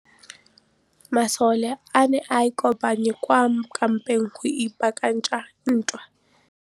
Masole a ne a kopane kwa kampeng go ipaakanyetsa ntwa.